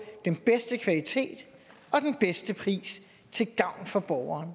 den bedste kvalitet og den bedste pris til gavn for borgeren